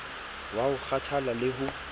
wa ho kgathalla le ho